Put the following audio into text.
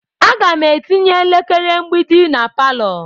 Aga m etinye elekere mgbidi na palọ.